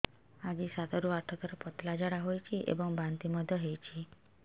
ଆଜି ସାତରୁ ଆଠ ଥର ପତଳା ଝାଡ଼ା ହୋଇଛି ଏବଂ ବାନ୍ତି ମଧ୍ୟ ହେଇଛି